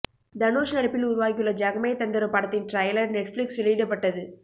தனுஷ் நடிப்பில் உருவாகியுள்ள ஜகமே தந்திரம் படத்தின் டிரைலர் நெட்ஃபிளிக்ஸ் வெளியிடப்பட்டது